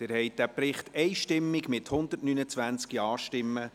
Sie haben diesen Bericht einstimmig zur Kenntnis genommen, mit 129 Ja-Stimmen.